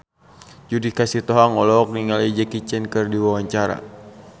Judika Sitohang olohok ningali Jackie Chan keur diwawancara